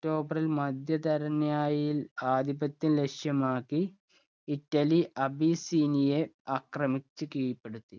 tober ല്‍ മധ്യധരണ്യാഴിയിൽ ആധിപത്യം ലക്ഷ്യമാക്കി, ഇറ്റലി അബിസ്സീനിയെ ആക്രമിച്ച് കീഴ്പെടുത്തി.